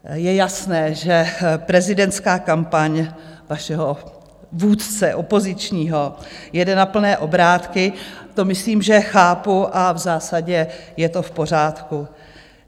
Je jasné, že prezidentská kampaň vašeho vůdce opozičního jede na plné obrátky, to myslím, že chápu, a v zásadě je to v pořádku.